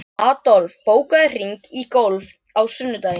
Adolf, bókaðu hring í golf á sunnudaginn.